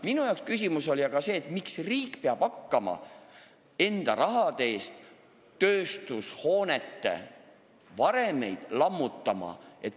Minu arvates on küsimus aga selles, miks peab riik hakkama enda raha eest tööstushoonete varemeid lammutama.